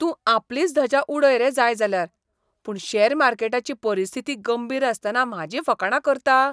तूं आपलीच धजा उडय रे जाय जाल्यार, पूण शॅर मार्केटाची परिस्थिती गंभीर आसतना म्हाजीं फकांडां करता?